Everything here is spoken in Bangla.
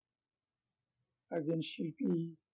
একজন শিল্পী